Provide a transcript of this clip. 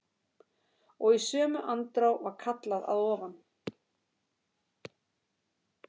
Og í sömu andrá var kallað að ofan.